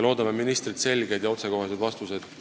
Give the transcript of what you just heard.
Loodame ministrilt selgeid ja otsekoheseid vastuseid.